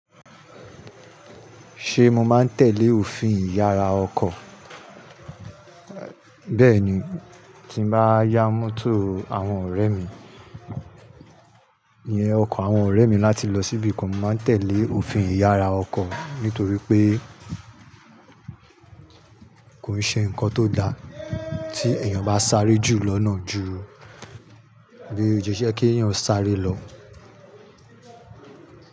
Ṣé mo máa ń tẹ̀lé òfin ìyára ọkọ̀? Bẹ́ẹ̀ ni, tí mo bá yá mọ́tò àwọn ọ̀rẹ́ mi ni ọkọ̀ àwọn ọ̀rẹ́ mi láti lọ síbi kan, màá tẹ̀lé òfin ìyára ọkọ̀ nítorí pé kò iṣe nǹkan tó da tí èèyàn bá sáré jù lọ́nà ju bí ó yẹ kí èèyàn sáré lọ.